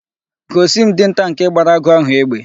Gosi m Dinta nke gbara agụ ahu egbe!